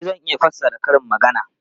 E, zan iya fassara karin maganar.